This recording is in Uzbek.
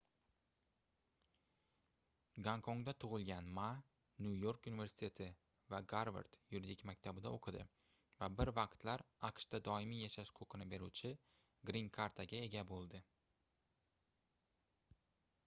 gonkongda tug'ilgan ma nyu-york universiteti va garvard yuridik maktabida o'qidi va bir vaqtlar aqshda doimiy yashash huquqini beruvchi grin karta"ga ega bo'ldi